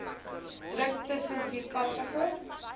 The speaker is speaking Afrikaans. druk tussen vierkantige